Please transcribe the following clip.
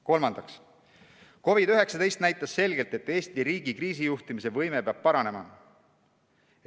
Kolmandaks, COVID-19 näitas selgelt, et Eesti riigi kriisijuhtimise võime peab paranema.